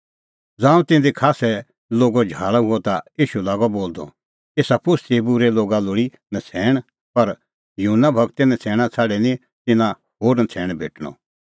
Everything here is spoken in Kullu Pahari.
ज़ांऊं तिधी खास्सै लोगो झाल़अ हुअ ता ईशू लागअ बोलदअ एसा पोस्तीए बूरै लोग लोल़ा नछ़ैण पर योना गूरे नछ़ैणां छ़ाडी निं तिन्नां होर नछ़ैण भेटणअ